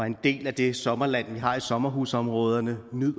en del af det sommerland vi har i sommerhusområderne